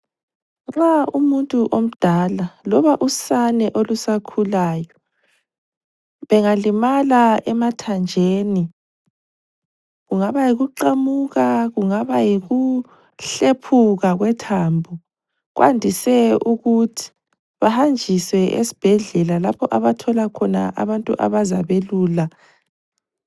Nxa umuntu omdala loba usane olusakhulayo bengalimala emathanjeni kungaba yikuqamuka kungaba yikuhlephuka kwethambo, kwandise ukuthi bahanjiswe esibhedlela lapha abathola khona abantu abazabelula.